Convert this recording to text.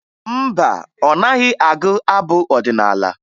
Mba, ọ naghị agụ abụ ọdịnaala